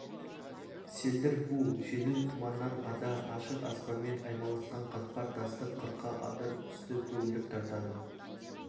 селдір бу жеңіл тұманнан ада ашық аспанмен аймаласқан қатпар тасты қырқа адыр үсті көгілдір тартады